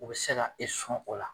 O se ka e sɔn o la